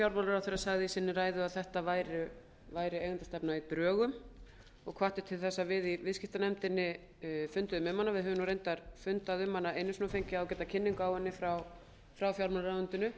fjármálaráðherra sagði í sinni ræðu að þetta væri eigendastefna í drögum og hvatti til þess að við í viðskiptanefnd funduðum um hana við höfum reyndar fundað um hana einu sinni og fengið ágæta kynningu á henni frá fjármálaráðuneytinu